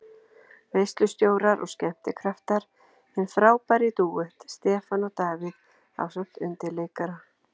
Veislustjórar og skemmtikraftar: Hinn frábæri dúett, Stefán og Davíð ásamt undirleikara.